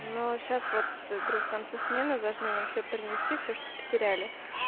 но сейчас вот в конце смены должны нам все принести все что потеряли